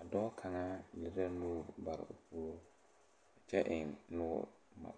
a dɔɔ kaŋa lire la nuure bare o puore kyɛ eŋ noɔre bomma.